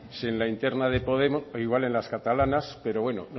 si en la interna de podemos o igual en las catalanas pero bueno